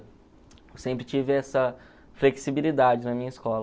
Eu sempre tive essa flexibilidade na minha escola.